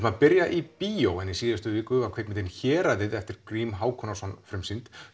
að byrja í bíó en í síðustu viku var kvikmyndin Héraðið eftir Grím Hákonarson frumsýnd